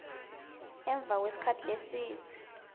emva kwesikhatsi lesidze